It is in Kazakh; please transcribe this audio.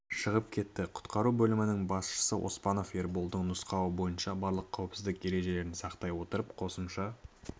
шығып кетті құтқару бөлінісінің басшысы оспанов ерболдың нұсқауы бойынша барлық қауіпсіздік ережелерін сақтай отырып қосымша